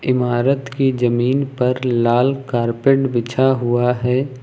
इमारत की जमीन पर लाल कारपेट बिछा हुआ है।